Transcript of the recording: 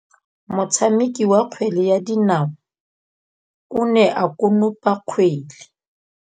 Motshameki wa kgwele ya dinaô o ne a konopa kgwele.